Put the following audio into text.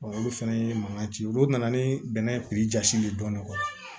olu fana ye mankan ci olu nana ni bɛnɛ piri jasi de ye dɔɔnin